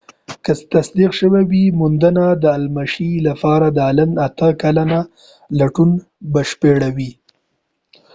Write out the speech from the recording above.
که تصدیق شوی وي موندنه د المشي لپاره د الن اته کلن لټون بشپړوي